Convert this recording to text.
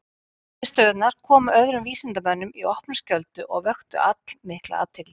Niðurstöðurnar komu öðrum vísindamönnum í opna skjöldu og vöktu allmikla athygli.